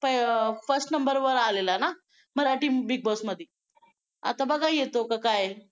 first number वर आलेला ना मराठी Big Boss मध्ये आता बघा येतो का काय